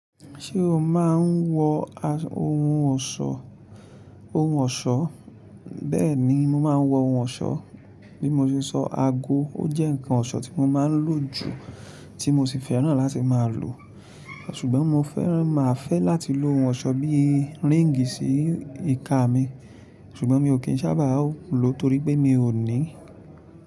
Ṣé o máa ń wọ ohun ọ̀ṣọ́? Bẹ́ẹ̀ni, mo máa ń wọ ohun ọ̀ṣọ́. Bí mo ṣe sọ aago, ó jẹ́ ǹkan ọ̀ṣọ́ tí mo máa ń lò jù tí mo sì fẹ́ràn láti máa lò, ṣùgbọ́n mo fẹ́ràn máa fẹ́ láti lò ohun ọ̀ṣọ́ bí i ríǹgì sí ìka mi, ṣùgbọ́n mi ò kí ń sábà lo torí pé mi ò ní i.